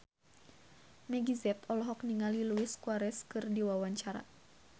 Meggie Z olohok ningali Luis Suarez keur diwawancara